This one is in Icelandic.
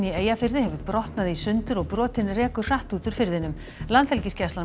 í Eyjafirði hefur brotnað í sundur og brotin rekur hratt út úr firðinum